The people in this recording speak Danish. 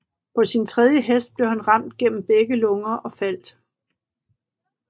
På sin tredje hest blev han ramt gennem begge lunger og faldt